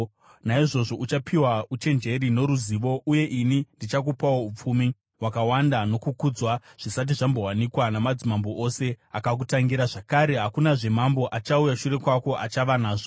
naizvozvo uchapiwa uchenjeri noruzivo. Uye ini ndichakupawo upfumi, hwakawanda nokukudzwa zvisati zvambowanikwa namadzimambo ose akakutangira zvakare hakunazve mambo achauya shure kwako achava nazvo.”